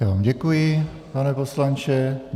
Já vám děkuji, pane poslanče.